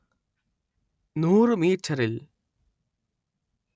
നൂറ് മീറ്ററിൽ